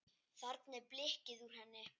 Þarna er blikkið úr henni.